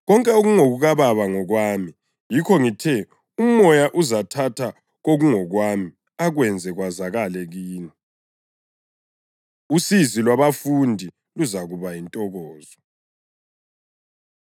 Konke okungokukaBaba ngokwami. Yikho ngithe uMoya uzathatha kokungokwami akwenze kwazakale kini.” Usizi Lwabafundi Luzakuba Yintokozo